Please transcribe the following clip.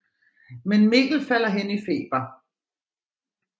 Men Mikkel falder hen i feber